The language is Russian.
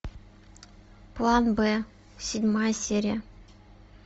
план б седьмая серия